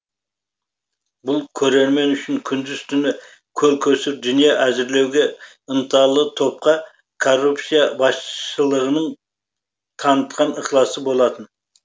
бұл көрермен үшін күндіз түні көл көсір дүние әзірлеуге ынталы топқа корупция басшылығының танытқан ықыласы болатын